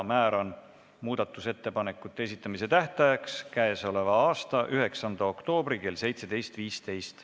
Määran muudatusettepanekute esitamise tähtajaks k.a 9. oktoobri kell 17.15.